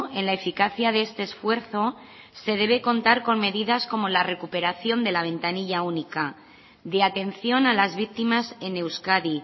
en la eficacia de este esfuerzo se debe contar con medidas como la recuperación de la ventanilla única de atención a las víctimas en euskadi